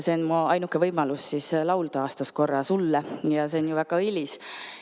Mu ainuke võimalus laulda on aastas korra sulle ja see on ju väga õilis.